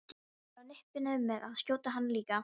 Ég var á nippinu með að skjóta hana líka.